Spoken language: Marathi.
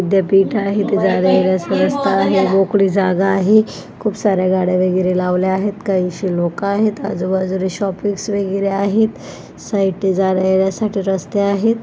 विद्यापीठ आहे जाण्यायेण्याचा रस्ता आहे मोकळी जागा आहे खूप सारे गाड्या वगैरे लावले आहेत काहीशी लोकं आहेत आजूबाजूला शॉपीस वगैरे आहेत. साइड ला जाण्या येण्यासाठी रस्ते आहेत.